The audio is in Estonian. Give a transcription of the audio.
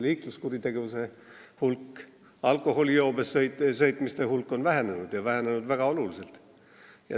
Liikluskuritegevuse hulk, alkoholijoobes juhtimiste hulk on vähenenud ja vähenenud väga oluliselt.